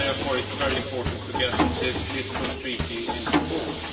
Therefore, it is very important to put this Lisbon Treaty into force.